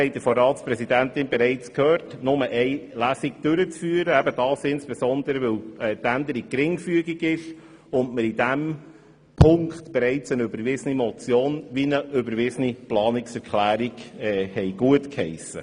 Wie die Ratspräsidentin gesagt hat, wünschen wir nur eine einzige Lesung, insbesondere weil die Änderung geringfügig ist und wir zu diesem Punkt bereits eine überwiesene Motion und eine überwiesene Planungserklärung haben.